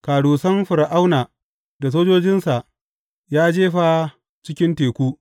Karusan Fir’auna da sojojinsa ya jefa cikin teku.